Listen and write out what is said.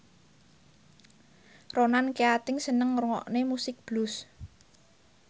Ronan Keating seneng ngrungokne musik blues